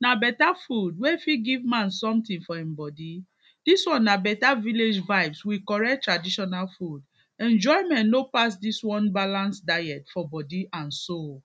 Na better food wey fit give man something for in body. This one na better village vibes with better traditional food, enjoyment no pass this one balance diet for body and soul.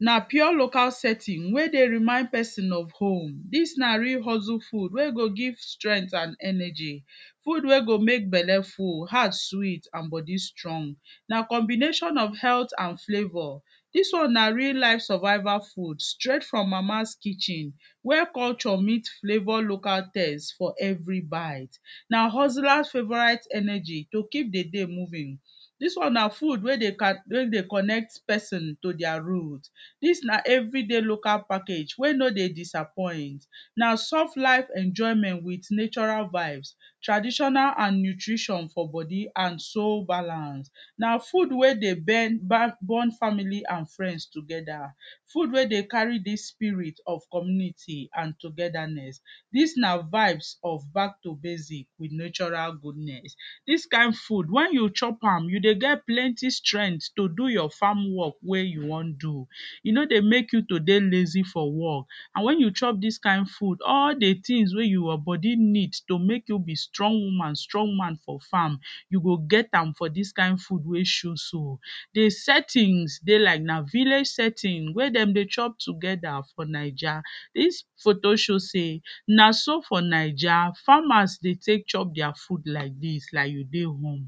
Na pure local setting wey dey remind person of home. Dis na real hustle food wey go give strength and energy, food wey go mek Belle full, heart sweet and body strong. Na combination of health and flavor, dis one na real life survival food straight from Mama's kitchen, where culture meet flavor local taste for every bite. Na hustlers favourite energy to keep the day moving. Dis one na good wey dey ka, wey Dey connect person to their root, dis na everyday local package wey no dey disappoint. Na soft life enjoyment with natural vibes, traditional and nutrition for body and soul balance, na Food wey dey bend, ban, bond family and friends together, food wey dey carry this spirit of community and togetherness. Dis na vibes of back to basic with natural goodness. Dis kind food, when you chop am you dey get plenty strength to do your farm work wey you wan do, e no dey mek you to dey lazy for work and when you chop dis kind food, all the things wey your body need to mek you be strong woman, strong man for farm, you go get am for dis kind food wey show so. The settings dey like na like village setting wey dem dey chop together for Naija. Dis photo show sey, na so for Naija farmers dey tek chop deir food like dis, like you dey home.